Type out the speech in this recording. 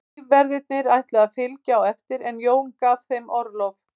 Lífverðirnir ætluðu að fylgja á eftir en Jón gaf þeim orlof.